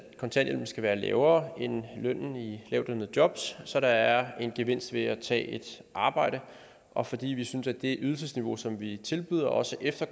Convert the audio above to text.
kontanthjælpen skal være lavere end lønnen i lavtlønnede jobs så der er en gevinst ved at tage et arbejde og fordi vi synes at det ydelsesniveau som vi tilbyder også efter